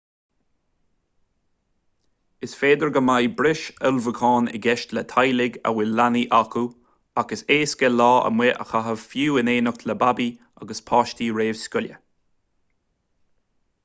is féidir go mbeidh breis ullmhúchán i gceist le teaghlaigh a bhfuil leanaí acu ach is éasca lá amuigh a chaitheamh fiú in éineacht le babaí agus páistí réamhscoile